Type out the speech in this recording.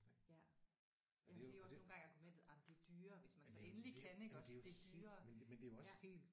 Ja. Jamen det er jo også nogle gange argumentet jamen det er dyrere hvis man så endelig kan iggås det er dyrere ja